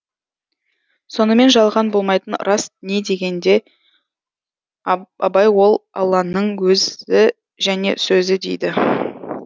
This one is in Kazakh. сонымен жалған болмайтын рас не дегенге абай ол алланың өзі және сөзі дейді